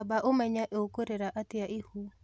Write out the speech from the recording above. Amba ũmenye ũkurera atĩa ihu